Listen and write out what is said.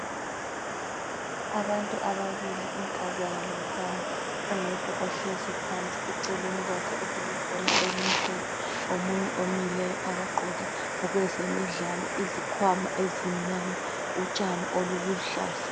Abantu ababili inkazana lomfana oyedwa ohlezi phansi eceleni kwakhe okulebhola elimlophe omunye omileyo abagqoke okwezemidlalo izikhwama zimnyama utshani oluluhlaza.